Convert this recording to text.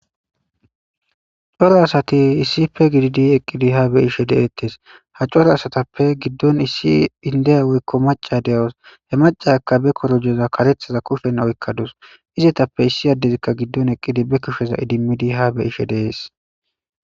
coro asati issipe gididi eqqidi ha beishe deettes ha coro asatappe giddon issi indeya woykko maca de7os he macaakka be korojeza kareththaza kushen oykkadus izetappe issi addezikka giddon eqqidi be kusheza idimmidi ha beyishe dees